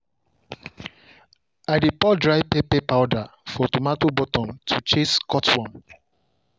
i dey pour dry pepper powder for tomato bottom to chase cutworm.